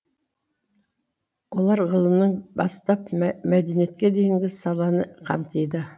олар ғылымнан бастап мәдениетке дейінгі саланы қамтиды